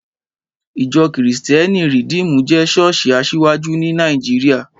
Ìjọ́ kìrìsítẹ́nì Rìdímù jẹ́ ṣọ́ọ̀ṣì asiwaju ní Nàìjíríà